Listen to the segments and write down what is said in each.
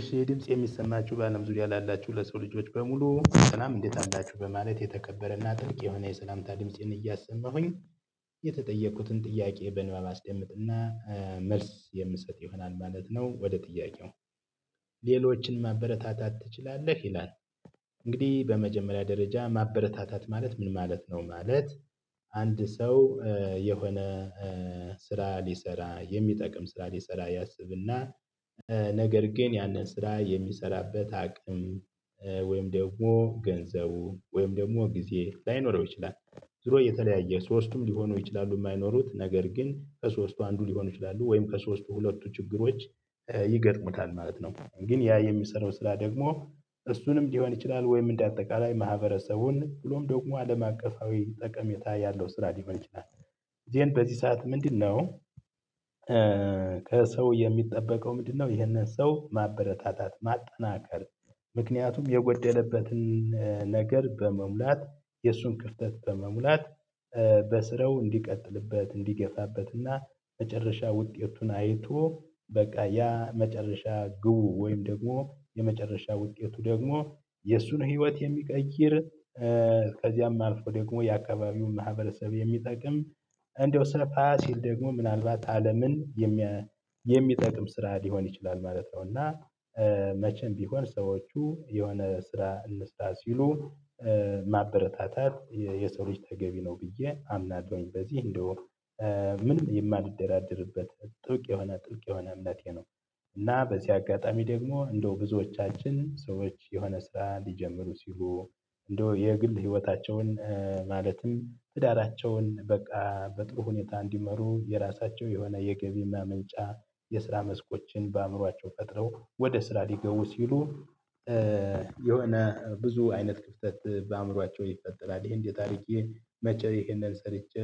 እሺ የድምጽ የሚሰማችሁ በአለም ዙሪያ ላላችሁ ለሰው ልጆች በሙሉ ስላም እንዴት አላችሁ? በማለት የተከበረና ጥልቅ የሆነ የሰላምታ ድምጽን እያሰማሁኝ። የተጠየቁትን ጥያቄ በንባብ አስደምጥና መልስ የምሰጥ ይሆናል ማለት ነው። ወደ ጥያቄው ሌሎችን ማበረታታት ትችላለህ? ይላል እንግዲህ በመጀመሪያ ደረጃ ማበረታታት ማለት ምን ማለት ነው? ማለት አንድ ሰው የሆነ ስራ ሊሰራ የሚጠቅም ስራ ሊሰራ ያስብና ነገር ግን ያንን ስራ የሚሰራበት አቅም ወይም ደግሞ ገንዘቡ ወይም ደግሞ ጊዜ ላይኖረው ይችላል። ዙሮ የተለያየ ሶስቱም ሊሆኑ ይችላሉ። የማይኖሩት ነገር ግን ከሶስቱ አንዱ ሊሆኑ ይችላሉ። ወይም ከሶስቱ ሁለቱ ችግሮች ይገጥሙታል ማለት ነው። ግን ያ የሚሰራው ስራ ደግሞ እሱንም ሊሆን ይችላል። ወይም እንደ አጠቃላይ ማህበረሰቡን ብሎም ደግሞ አለም አቀፋዊ ጠቀሜታ ያለው ስራ ሊሆን ይችላል። ዜን በዚህ ሰዓት ምንድነው? ከሰው የሚጠበቀው ምንድነው? ይህንን ሰው ማበረታታት ማጠናከር ምክንያቱም የጎደለበትን ነገር በመሙላት የእሱን ክፍተት በመሙላት በስረው እንዲቀጥልበት እንዲገፋበትና መጨረሻ ውጤቱን አይቶ በቃ ያ መጨረሻ ግቡ ወይም ደግሞ የመጨረሻ ውጤቱ ደግሞ የእሱን ህይወት የሚቀይር እስከዚያም ከልፎ ደግሞ የአካባቢውን ማህበረሰብ የሚጠቅም እንደው ሰፋ ሲል ደግሞ ምናልባት አለምን የሚጠቅም ስራ ሊሆን ይችላል። ማለት ነው እና መቼም ቢሆን ሰዎቹ የሆነ ስራ እንስራ ሲሉ ማበረታታት የሰው ልጅ ተገቢ ነው። ብዬ አምናለሁኝ በዚህ እንደው ምንም የማልደራደርበት ጥልቅ የሆነ ጥልቅ የሆነ እምነቴ ነው። እና በዚህ አጋጣሚ ደግሞ እንደው ብዙዎቻችን ሰዎች የሆነ ስራ ሊጀምሩ ሲሉ እንደው የግል ህይወታቸውን ማለትም ትዳራቸውን በቃ በጥሩ ሁኔታ እንዲመሩ የራሳቸው የሆነ የገቢ ማመንጫ የስራ መስኮችን በአእምሯቸው ቀጥለው ወደ ስራ ሊገው ሲሉ የሆነ ብዙ አይነት ክፍተት በአእምሯቸው ይፈጠራል። ይሄን እንዴት አርጌ፣ መቼ ይሄንን ሰርቼ፣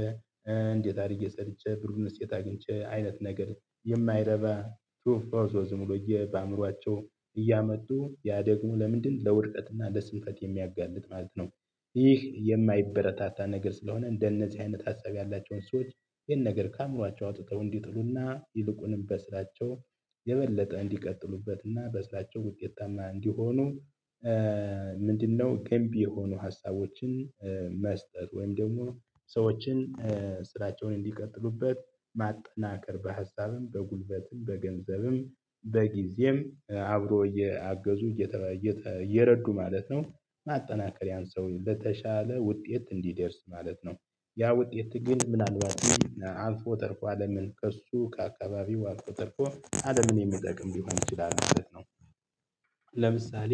እንዴት አድርጌ ሰርቼ፣ ብሩን የት አግኝቼ፣ አይነት ነገር የማይረባ ቱ ኦፍ ኮርሶዝም ሆኖ በአእምሮአቸው እያመጡ ያ ደግሞ ለምንድን ለውድቀትና ለስንፈት የሚያጋልጥ ማለት ነው። ይህ የማይበረታታ ነገር ስለሆነ እንደነዚህ አይነት ሀሳብ ያላቸውን ሰዎች ይሄን ነገር ከአእምሮአቸው አውጥተው እንዲጥሉና ይልቁንም በስራቸው የበለጠ እንዲቀጥሉበትና እና በስራቸው ውጤታማ እንዲሆኑ ምንድነው ገንቢ የሆኑ ሀሳቦችን መስጠት ወይም ደግሞ ሰዎችን ስራቸውን እንዲቀጥሉበት ማጠናከር። በሀሳብም በጉልበትም በገንዘብም በጊዜም አብሮ እያገዙ እየረዱ ማለት ነው። ማጠናከሪያን ሰው በተሻለ ውጤት እንዲደርስ ማለት ነው። ያ ውጤት ግን ምናልባት አልፎ ተርፎ አለምን ከእርሱ ከአካባቢው አልፎ ተርፎ አለምን የሚጠቅም ሊሆን ይችላል ማለት ነው። ለምሳሌ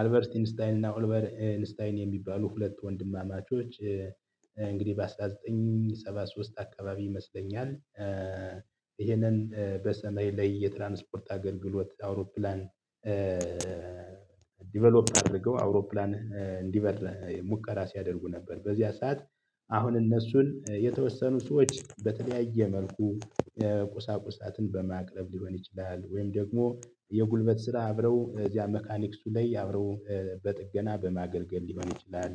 አልቨርት ኢንስታይን እና ኦልቨር ኢንታይን የሚባሉ ሁለት ወንድማማቾች እንግዲህ በ አስራ ዘጠኝ ሰባ ሶስት አካባቢ ይመስለኛል። ይሄንን በሰማይ ላይ የትራንስፖርት አገልግሎት አውሮፕላን አድርገው አውሮፕላን እንዲበር ሙከራ ሲያደርጉ ነበር በዚያ ሰዓት አሁን እነሱን የተወሰኑ ሰዎች በተለያየ መልኩ ቁሳቁሳትን በማቅረብ ሊሆን ይችላል። ወይም ደግሞ የጉልበት ስራ አብረው እዚያ መካኒክሱ ላይ አብረው በጥገና በማገልገል ሊሆን ይችላል።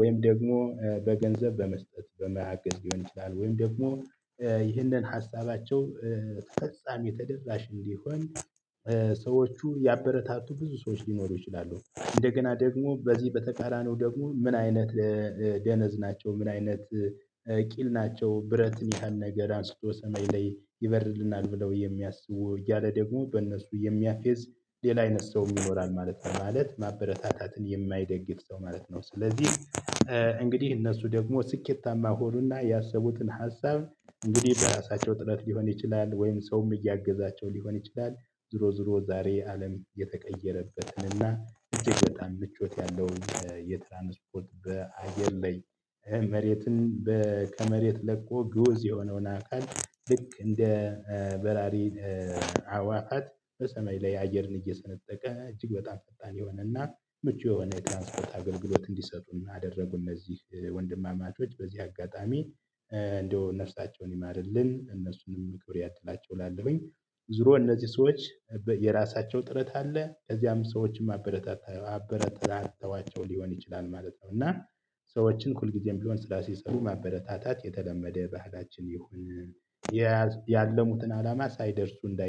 ወይም ደግሞ በገንዘብ በመስጠት በመያገን ሊሆን ይችላል። ወይም ደግሞ ይህንን ሀሳባቸው ተፈጻሚ ተደራሽ እንዲሆን ሰዎቹ ያበረታቱ ብዙ ሰዎች ሊሞሉ ይችላሉ። እንደገና ደግሞ በዚህ በተቃራኒው ደግሞ ምን አይነት ደነዝ ናቸው። ምን አይነት ቂል ናቸው። ብረትን ያህል ነገር አንስቶ ሰሜን ላይ ይበርልናል ብለው የሚያስቡ እያለ ደግሞ በእነሱ የሚያፌዝ ሌላ አይነት ሰው ይኖራል ማለት ነው። ማለት ማበረታታትን የማይደግፍ ሰው ማለት ነው። ስለዚህ እንግዲህ እነሱ ደግሞ ስኬታማ ሆኖና ያሰቡትን ሀሳብ እንግዲህ በራሳቸው ጥረት ሊሆን ይችላል። ወይም ሰውም እያገዛቸው ሊሆን ይችላል። ዝሮ ዝሮ ዛሬ አለም እየተቀየረበትን እና እጅግ በጣም ምቾት ያለው የትራንስፖርት በአየር ላይ መሬትን ከመሬት ለቆ ግውዝ የሆነውን አካል ልክ እንደ በራሪ አዋፋት በሰሜይ ላይ አየርን እየሰነጠቀ እጅግ በጣም ፈጣን የሆነና ምቹ የሆነ የትራንስፖርት አገልግሎት እንዲሰሩ አደረጉ እነዚህ ወንድማማቾች በዚህ አጋጣሚ እንደው ነፍሳቸውን ይማርልን። እነሱንም ክብር ያድላቸው እላለሁኝ ዙሮ እነዚህ ሰዎች የራሳቸው ጥረት አለ። ከዚያም ሰዎችን ማበረታታት አበረታታቸው ሊሆን ይችላል ማለት ነው። እና ሰዎችን ሁልጊዜም ቢሆን ስራ ሲሰሩ ማበረታታት የተለመደ ባህላችን ይሁን ያለሙትን አላማ ሳይደርሱ እንዳይ